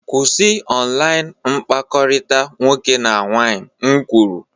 Kwụsị online mkpakọrịta nwoke na nwaanyị m kwuru!